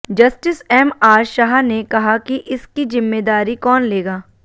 justice MR Shah ने कहा कि इसकी जिम्मेदारी कौन लेगा